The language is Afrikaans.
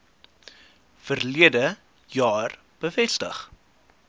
verlede jaar bevestig